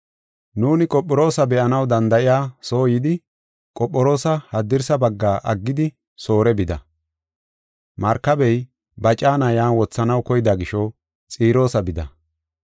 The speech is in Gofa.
Nuuni Qophiroosa be7anaw danda7iya soo yidi, Qophiroosa haddirsa bagga aggidi Soore bida. Markabey ba caana yan wothanaw koyida gisho Xiroosa bida.